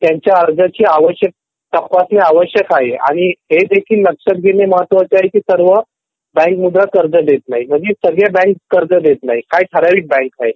त्यांचा अर्जाची आवश्यकता तपासणी आवश्यक आहे. आणि हे देखील लक्षात घेणे महत्त्वाचे आहे की सर्व बँक मुद्रा कर्ज देत नाही म्हणजे सगळ्या बँक देत नाही काही ठराविक बँक आहेत.